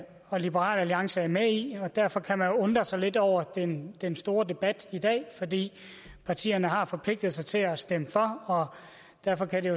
og liberal alliance er med i og derfor kan man undre sig lidt over den den store debat i dag fordi partierne har forpligtet sig til at stemme for og derfor kan det